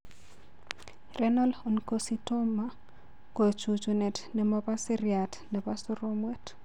Renal oncocytoma ko chununet ne mo bo seriat nebo soromwet.